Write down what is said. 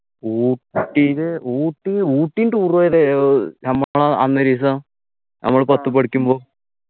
ഊട്ടില് ഊട്ടി ഊട്ടി ഉം tour പോയത് ഏർ നമ്മക്കാണോ അന്നോരിസം നമ്മള് പത്ത് പഠിക്കുമ്പോ